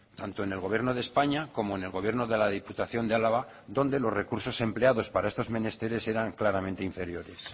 tanto en el gobierno de españa como en el gobierno de la diputación de álava donde los recursos empleados para estos menesteres eran claramente inferiores